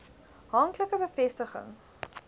hank like bevestiging